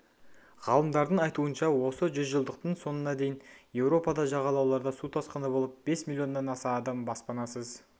ғалымдардың айтуынша осы жүзжылдықтың соңына дейін еуропада жағалауларда су тасқыны болып бес миллионнан аса адам баспанасыз